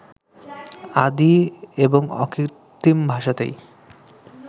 আদি এবং অকৃত্রিম ভাষাতেই